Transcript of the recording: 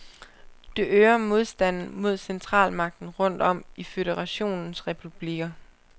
Det øger modstanden mod centralmagten rundt om i føderationens republikker.